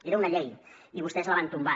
era una llei i vostès la van tombar